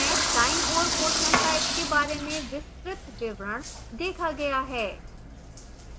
दाईं ओर question type के बारे में विस्तृत विवरण देखा गया है